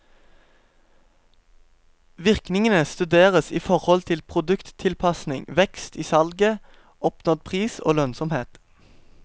Virkningene studeres i forhold til produkttilpasning, vekst i salget, oppnådd pris og lønnsomhet.